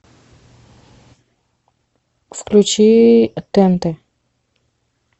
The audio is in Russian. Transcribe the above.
включи тнт